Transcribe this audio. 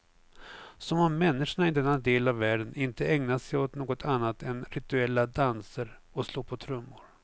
Som om människorna i denna del av världen inte ägnar sig åt något annat än rituella danser och slå på trummor.